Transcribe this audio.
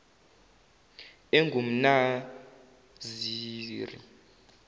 engumnaziri